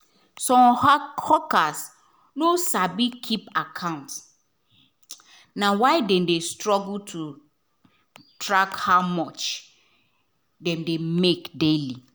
some hawkers no sabi keep account — na why dem dey struggle to track how much dem dey make daily.